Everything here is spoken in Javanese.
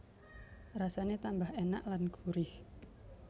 Rasane tambah enak lan gurih